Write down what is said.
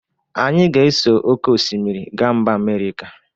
Anyị ga-eso oke osmiri ga mba Amerika.